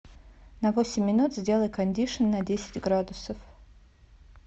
на восемь минут сделай кондишн на десять градусов